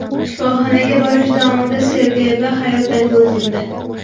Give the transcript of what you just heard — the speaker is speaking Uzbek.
Shifoxonaga borish davomida Sergey B. hayotdan ko‘z yumdi.